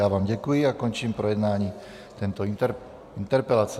Já vám děkuji a končím projednání této interpelace.